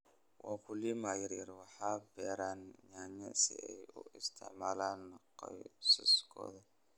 Wakulima yaryar waxay beeraan nyanya si ay u isticmaalaan qoysaskooda.